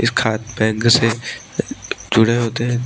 इस खात बैंक से अ जुड़े होते हैं।